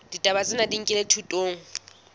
ditaba tsena di nkilwe thutong